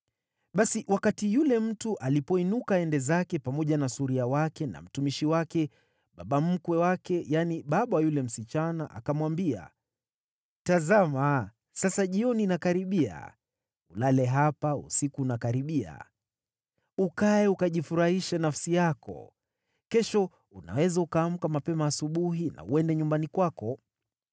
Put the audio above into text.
Basi wakati yule mtu alipoinuka aende zake, pamoja na suria wake na mtumishi wake, baba mkwe wake, yaani, baba wa yule msichana akamwambia, “Tazama sasa jioni inakaribia. Ulale hapa usiku unakaribia. Ukae, ukajifurahishe nafsi yako. Kesho unaweza kuamka mapema asubuhi na uende nyumbani kwako.”